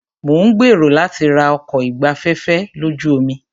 Mo ń gbèrò láti ra ọkọ̀ ìgbafẹ́fẹ́ lójú omi.